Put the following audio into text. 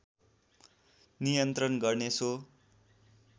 नियन्त्रण गर्ने सो